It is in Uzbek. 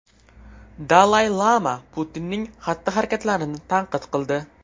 Dalay-lama Putinning xatti-harakatlarini tanqid qildi.